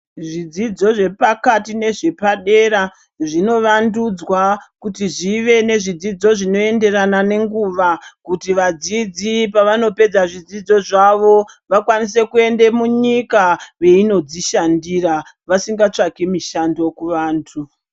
Zvidzidzo zvepakati nezvepadera zvinovandudzwa kuti zvive nezvidzidzo zvinoenderana nenguva kuti vadzidzi pavanopedze zvidzidzo zvavo vakwanise kuende munyika veinodzishandira vasinga tsvaki mushando muvantu veinodzishandira.